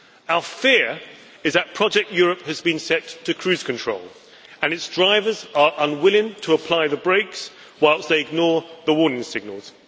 Our fear is that project Europe' has been set to cruise control and its drivers are unwilling to apply the brakes, whilst they ignore the warning signals.